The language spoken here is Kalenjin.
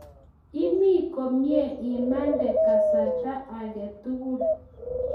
imii komie imande kasarta ag'e tugul